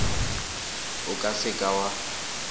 o ka se ka wa